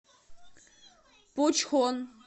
пучхон